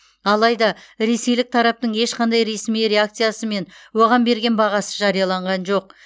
алайда ресейлік тараптың ешқандай ресми реакциясы мен оған берген бағасы жарияланған жоқ